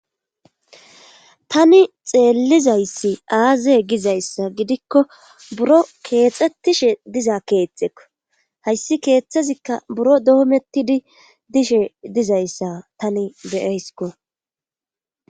Tani xeellizayssi aaze gizayssa gidikko buro keexxettishe dizaa keetekko hayssi keeththezikka buro doomettidi dishe dizayssa tani be7ayskko.